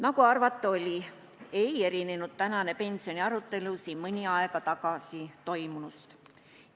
Nagu arvata oli, ei erinenud tänane pensionisüsteemi arutelu siin mõni aeg tagasi toimunust.